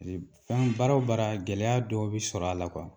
b fɛn baara o baara gɛlɛya dɔw be sɔr'a la .